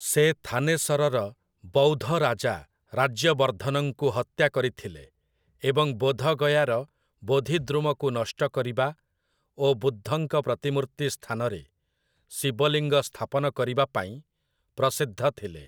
ସେ ଥାନେସରର ବୌଦ୍ଧ ରାଜା ରାଜ୍ୟବର୍ଦ୍ଧନଙ୍କୁ ହତ୍ୟା କରିଥିଲେ ଏବଂ ବୋଧଗୟାର ବୋଧିଦ୍ରୁମକୁ ନଷ୍ଟ କରିବା ଓ ବୁଦ୍ଧଙ୍କ ପ୍ରତିମୂର୍ତ୍ତି ସ୍ଥାନରେ ଶିବ ଲିଙ୍ଗ ସ୍ଥାପନ କରିବା ପାଇଁ ପ୍ରସିଦ୍ଧ ଥିଲେ ।